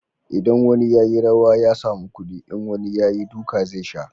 idan wani ya yi rawa ya samu kudi, in wani ya yi, duka zai sha